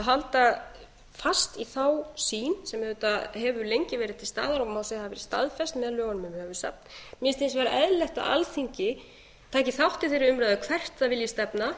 halda fast í þá sýn sem auðvitað hefur landið verið til staðar og má segja að hafi verið staðfest með lögunum um höfuðsafn mér finnst hins vegar eðlilegt að alþingi taki þátt í þeirri umræðu hvert það vilji stefna